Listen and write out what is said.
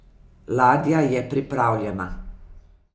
Ladja je pripravljena.